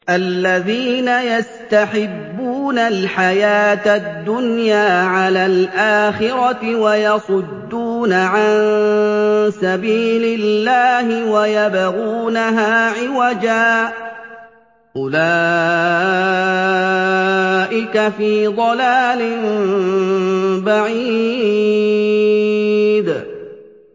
الَّذِينَ يَسْتَحِبُّونَ الْحَيَاةَ الدُّنْيَا عَلَى الْآخِرَةِ وَيَصُدُّونَ عَن سَبِيلِ اللَّهِ وَيَبْغُونَهَا عِوَجًا ۚ أُولَٰئِكَ فِي ضَلَالٍ بَعِيدٍ